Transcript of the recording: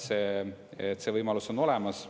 See võimalus on olemas.